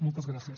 moltes gràcies